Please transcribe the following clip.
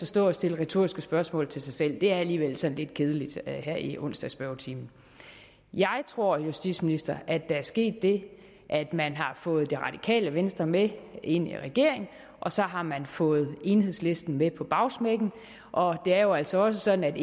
stå og stille retoriske spørgsmål til sig selv det er alligevel sådan lidt kedeligt her i onsdagsspørgetimen jeg tror justitsministeren at der er sket det at man har fået det radikale venstre med ind i regeringen og så har man fået enhedslisten med på bagsmækken og det er jo altså også sådan